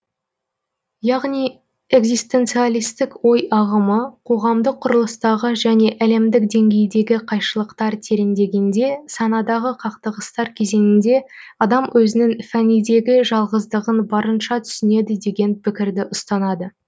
яғни экзистенциалистік ой ағымы қоғамдық құрылыстағы және әлемдік деңгейдегі қайшылықтар тереңдегенде санадағы қақтығыстар кезеңінде адам өзінің фәнидегі жалғыздығын барынша түсінеді деген пікірді ұстанады